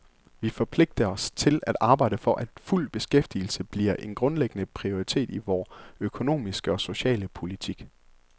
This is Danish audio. Vi forpligter os til at arbejde for, at fuld beskæftigelse bliver en grundlæggende prioritet i vor økonomiske og sociale politik.